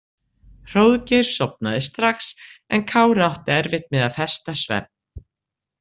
Hróðgeir sofnaði strax en Kári átti erfitt með að festa svefn.